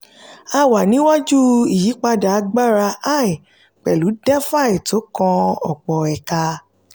a wà ní iwájú ìyípadà agbára ai pẹ̀lú defi tó kan ọ̀pọ̀ ẹ̀ka.